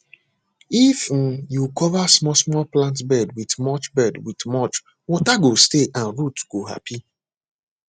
if um you cover small small plant bed with mulch bed with mulch water go stay and root go happy